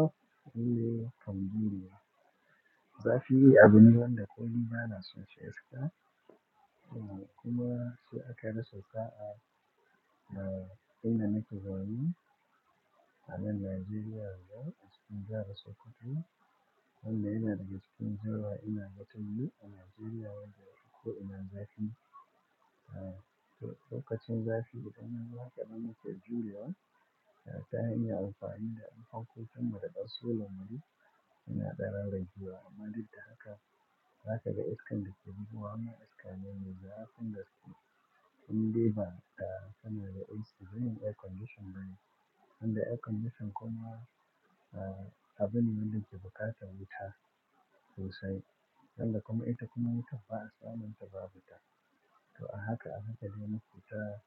Oye from Julia. Zafi yi abine wanda koni bana son sha iska, kuma sai aka daso sa'a, eh, inda nake zaune a nan Najeriya a cikin jahar Sokoto, wanda yana daga cikin jiha ina gatannu a Najeriya wanda hukuma ina zafi. Eh, to lokacin zafi, daga nan haka dama ta jurewa ta iya amfani da unfan ko kuma da basula mari yana tsare daji wa. Amma dita haka, zaka ga iskan da ke jibi wa, amma iska mai nisa kuma skin ɗiba da kanai AC, zan yi air conditioner bane. Inda air conditioner kuma, eh, abin da ke bukata wuta sosai. Sanda kuma ita kuma wuta ba a tsamanta ba wuta. To a haka a haka dai muke ta